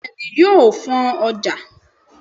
Bééni yóó fọ́n ojà.